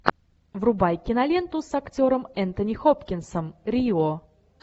врубай киноленту с актером энтони хопкинсом рио